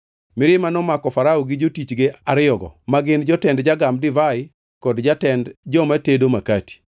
Mirima nomako Farao gi jotichge ariyogo, ma gin jotend jagam divai kod jatend joma tedo makati.